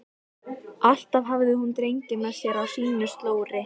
Alltaf hafði hún drenginn með sér á sínu slóri.